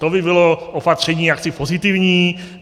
To by bylo opatření jaksi pozitivní.